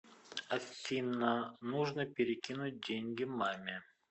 афина нужно перекинуть деньги маме